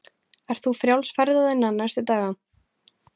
Ert þú frjáls ferða þinna næstu daga?